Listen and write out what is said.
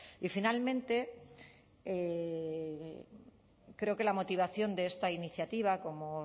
y finalmente creo que la motivación de esta iniciativa como